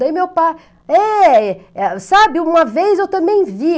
Daí meu pai, é, sabe, uma vez eu também vi.